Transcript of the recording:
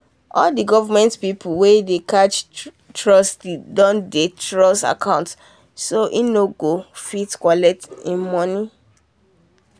all these government people wen dey catch trustee doh that trustee account so he nor go fit collect he money